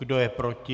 Kdo je proti?